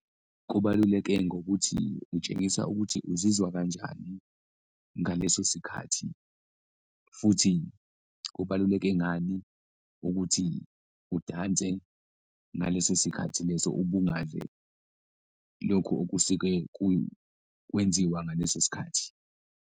Kubaluleke ngokuthi utshengisa ukuthi uzizwa kanjani ngaleso sikhathi futhi kubaluleke ngani ukuthi udanse ngaleso sikhathi leso, ubungaze lokhu okusuke kwenziwa ngaleso sikhathi.